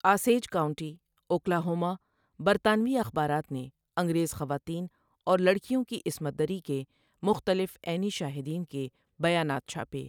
Osage county, Oklahoma برطانوی اخبارات نے انگریز خواتین اور لڑکیوں کی عصمت دری کے مختلف عینی شاہدین کے بیانات چھاپے۔